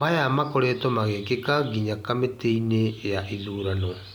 "Maya makoretwo magĩkĩka nginyagia kamĩtĩ-inĩ ya ithurano."